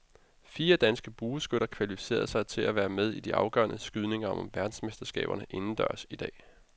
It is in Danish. Fire danske bueskytter kvalificerede sig til at være med i de afgørende skydninger om verdensmesterskaberne indendørs i dag.